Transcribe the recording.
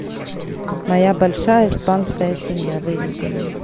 моя большая испанская семья выведи мне